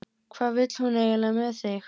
Hvað vill hún eiginlega með þig?